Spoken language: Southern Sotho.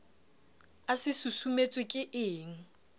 a se susumetswe ke ekng